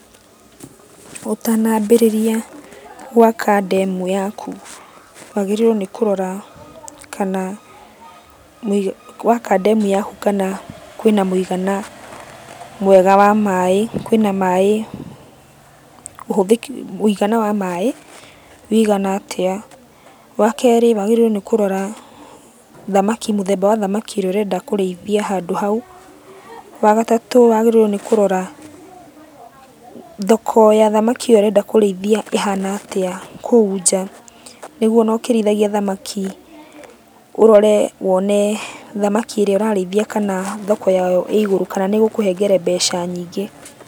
Ũtanambĩrĩria gwaka ndemu yaku, wagĩrĩirwo nĩ kũrora kana waka ndemu yaku kana kwĩna mũigana mwega wa maĩ, kwĩna maĩ, ũhũthĩki, wĩigana wa maĩ, wĩigana atĩa. Wakerĩ wagĩrĩirũo nĩ kũrora thamaki, mũthemba wa thamaki ĩrĩa ũrenda kũrĩithia handũ hau. Wagatatũ wagĩrĩirwo nĩ kũrora, thoko ya thamaki ĩyo ũrenda kũrĩithia ĩhana atĩa kũu nja, nĩguo ona ũkĩrĩithagia thamaki, ũrore wone thamaki ĩrĩa ũrarĩithia kana thoko yayo ĩ igũrũ kana nĩĩgũkũhengere mbeca nyingĩ.